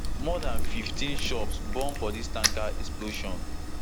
more dan fifteen shops burn for dis tanker explosion